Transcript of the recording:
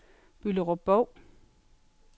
Bylderup-Bov